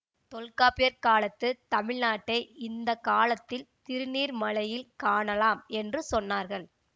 தொல்காப்பியர் காலத்து தமிழ்நாட்டை இந்த காலத்தில் திருநீர்மலையில் காணலாம் என்று சொன்னார்கள்